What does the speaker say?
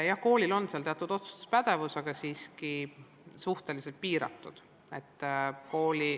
Jah, koolil on siin teatud otsustuspädevus olemas, aga see on siiski suhteliselt piiratud.